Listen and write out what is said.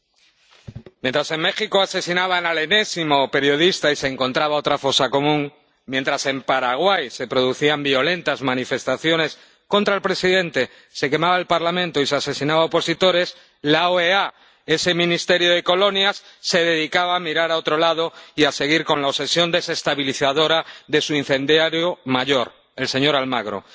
Señor presidente, mientras en México asesinaban al enésimo periodista y se encontraba otra fosa común, mientras en Paraguay se producían violentas manifestaciones contra el presidente, se quemaba el Parlamento y se asesinaba a opositores, la OEA, ese ministerio de colonias, se dedicaba a mirar hacia otro lado y a seguir con la obsesión desestabilizadora de su incendiario mayor, el señor Almagro.